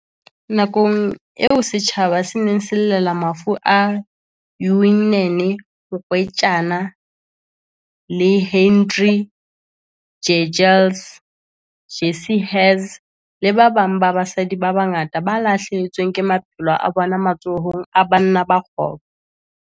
Nakong eo setjhaba se ne se llela mafu a Uyinene Mrwetyana, Leighandre Jegels, Jesse Hess le ba babang ba basadi ba bangata ba lahlehetsweng ke maphelo a bona matsohong a banna ba kgopo.